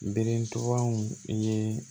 Beretubaw ye